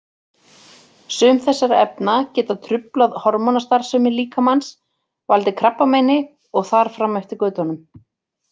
Sum þessara efna geta truflað hormónastarfsemi líkamans, valdið krabbameini og þar fram eftir götunum.